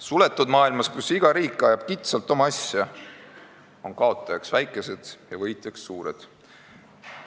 Suletud maailmas, kus iga riik ajab kitsalt oma asja, on kaotajaks väikesed ja võitjaks suured.